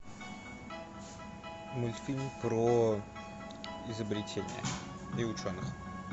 мультфильм про изобретения и ученых